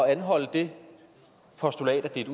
at anholde det postulat at det